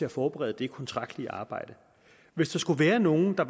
at forberede det kontraktlige arbejde hvis der skulle være nogen der